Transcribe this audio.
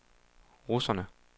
russerne